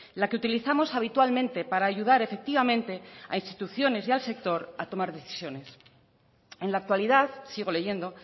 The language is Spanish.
la que utilizamos habitualmente para ayudar efectivamente a instituciones y al sector a tomar decisiones en la actualidad sigo leyendo